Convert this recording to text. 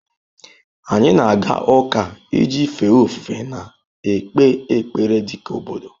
Anyị na-aga ụka iji fee ofufe na-ekpe ekpere dị ka obodo.